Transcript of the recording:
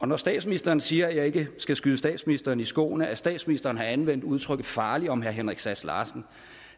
når statsministeren siger at jeg ikke skal skyde statsministeren i skoene at statsministeren har anvendt udtrykket farlig om herre henrik sass larsen